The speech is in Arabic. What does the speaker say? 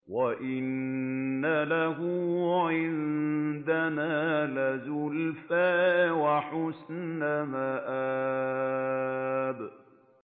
وَإِنَّ لَهُ عِندَنَا لَزُلْفَىٰ وَحُسْنَ مَآبٍ